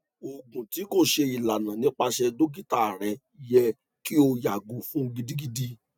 oògùn ti ko ṣe ilana nipasẹ dokita rẹ yẹ ki o yago fun gidigidi